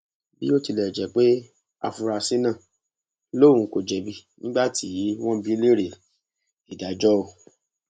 bó tilẹ jẹ pé afurasí náà lòun kò jẹbi nígbà tí wọn bi í léèrè adájọ o